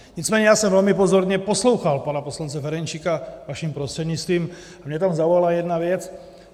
Nicméně já jsem velmi pozorně poslouchal pana poslance Ferjenčíka, vaším prostřednictvím, a mě tam zaujala jedna věc.